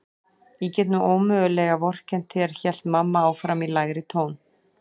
Ég get nú ómögulega vorkennt þér hélt mamma áfram í lægri tón.